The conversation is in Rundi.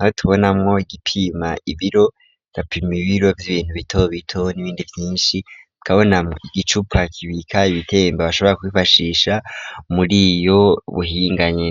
abo tubonamwo igipima ibiro, yapimi ibiro vy'ibintu bito bito n'ibindi vyinshi tukabona igicupa kibika ibitembe bashobora kubifashisha muri ubwo buhinga nyene.